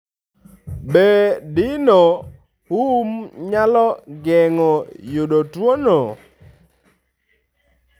Be dino hum nyalo geng'o yudo tuwono?